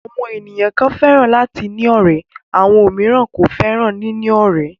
Àwọn ènìyàn kan fẹ́ràn láti ní ọ̀rẹ́ àwọn òmíràn kò fẹ́ràn níní ọ̀rẹ́.